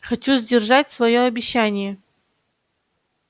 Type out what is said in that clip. хочу сдержать своё обещание